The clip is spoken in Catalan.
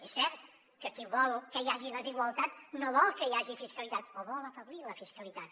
és cert que qui vol que hi hagi desigualtat no vol que hi hagi fiscalitat o vol afeblir la fiscalitat